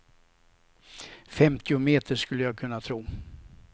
Femtio meter skulle jag kunna tro.